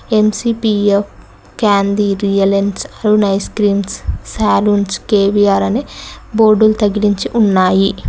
MCPF candy Reliance Arun ice creams సాలూమ్స్ K V R అని board తగిలించి ఉన్నాయి.